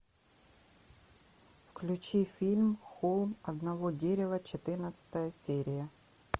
включи фильм холм одного дерева четырнадцатая серия